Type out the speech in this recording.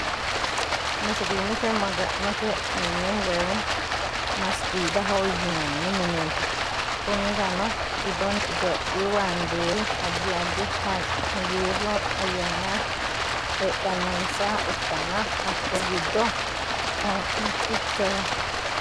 Musilimete maganote mine woyim masigidaho yinani minet kunirano gidoni ithiyophyhu bandirei adid adid hagiru ayana hedanonisaha ikana hakuri gido mitochondrial.